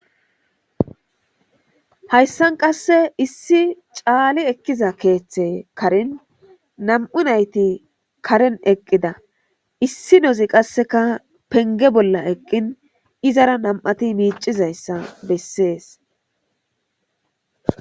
Hayssan qasse issi caali ekkiza keeththe karin nam'u nayti karen eqqida issi nozi qasseka penge bolla eqqin izara nam'ati miicizayssa bessees.